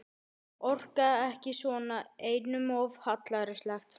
Orka ekki svona, einum of hallærislegt.